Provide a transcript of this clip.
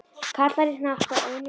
Karlar í hnapp á einum stað.